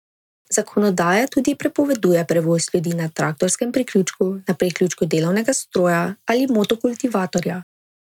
Zakonodaja tudi prepoveduje prevoz ljudi na traktorskem priključku, na priključku delovnega stroja ali motokultivatorja.